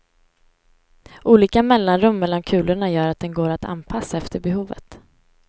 Olika mellanrum mellan kulorna gör att den går att anpassa efter behovet.